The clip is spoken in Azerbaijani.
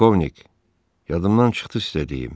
Polkovnik, yadımdan çıxdı sizə deyim.